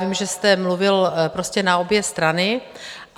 Vím, že jste mluvil prostě na obě strany.